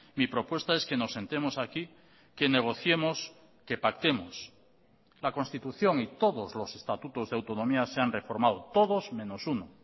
mi propuesta es que nos sentemos aquí que negociemos que pactemos la constitución y todos los estatutos de autonomía se han reformado todos menos uno